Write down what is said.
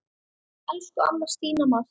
Elsku amma Stína Mass.